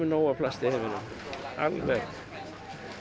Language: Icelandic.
nóg af plasti í heiminum alveg